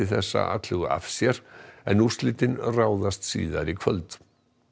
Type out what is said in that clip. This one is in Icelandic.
þessa atlögu af sér en úrslitin ráðast í kvöld